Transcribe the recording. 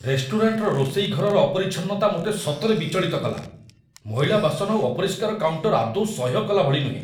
ରେଷ୍ଟୁରାଣ୍ଟର ରୋଷେଇ ଘରର ଅପରିଚ୍ଛନ୍ନତା ମୋତେ ସତରେ ବିଚଳିତ କଲା। ମଇଳା ବାସନ ଆଉ ଅପରିଷ୍କାର କାଉଣ୍ଟର ଆଦୌ ସହ୍ୟକଲା ଭଳି ନୁହେଁ।